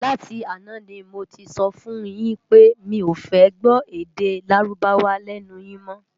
Láti àná ni mó ti sòfún yin pé mi ó fè gbò èdè Lárúbáwá lènú yin mò